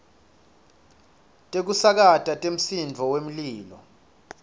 tekusakata temsindvo wemlilo